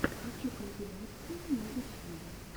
хочу компиляции на ютьюбе